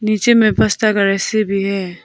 नीचे में फसता गड़ेसी भी है।